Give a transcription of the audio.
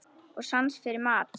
Og sans fyrir mat.